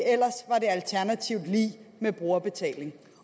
med brugerbetaling